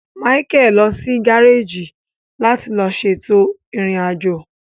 Michael lọ si gareji láti lo ṣètò irin ajo